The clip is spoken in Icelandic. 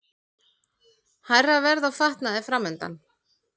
Hærra verð á fatnaði framundan